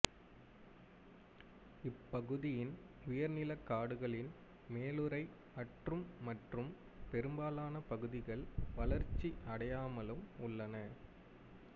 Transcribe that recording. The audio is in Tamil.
இப்பகுதியின் உயர்நிலக் காடுகளின் மேலுறை அற்றும் மற்றும் பெரும்பாலான பகுதிகள் வளர்ச்சி அடையாமலும் உள்ளன